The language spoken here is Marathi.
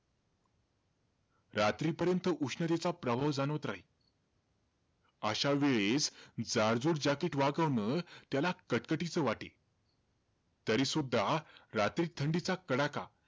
रात्रीपर्यंत उष्णतेचा प्रभाव जाणवत राहील. अशा वेळेस जाडजूड jacket वागवणं, त्याला कटकटीचं वाटे. तरीसुद्धा, रात्रीत थंडीचा कडका,